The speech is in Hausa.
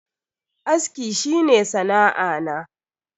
Aski shi ne sana'a na.